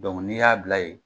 n'i y'a bila yen,